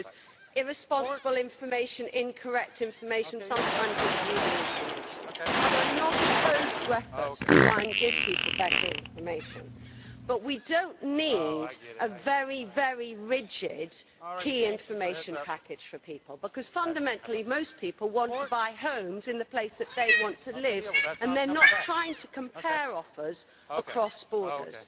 There was irresponsible information, incorrect information, sometimes misleading information, and I am not opposed to efforts to try and give people better information, but we do not need a very rigid key information package for people, because fundamentally most people want to buy homes in the place that they want to live and they are not trying to compare offers across borders.